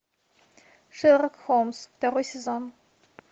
шерлок холмс второй сезон